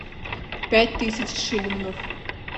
пять тысяч шиллингов